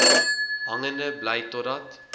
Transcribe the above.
hangende bly totdat